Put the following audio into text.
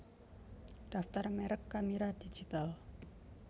Daftar merek kamera digital